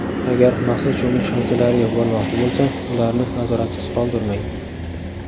Agarda maxsus cho‘milish havzalariga bormoqchi bo‘lsa, ularni nazoratsiz qoldirmang!